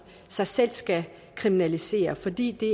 sig selv skal kriminalisere fordi det